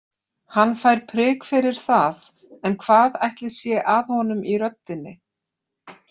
Hann fær prik fyrir það en hvað ætli sé að honum í röddinni?